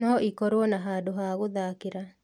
No ĩkorwo na handũ ha gũthakĩra